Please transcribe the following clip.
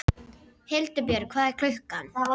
Hildibjörg, hvað er klukkan?